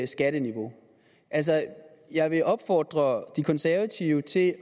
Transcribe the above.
skatteniveau altså jeg vil opfordre de konservative til at